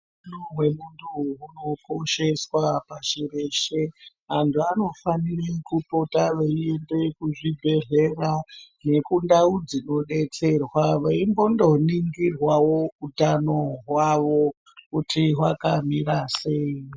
Utano hwemuntu hunokosheswa pashi reshe, vantu vanofanire kupota veiende kuzvibhedhlera nekundau dzinodetserwa veimbononingirwawo utano hwavo kuti hwakamira sei.